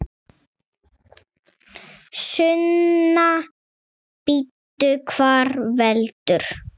Sunna: Bíddu, hvað veldur?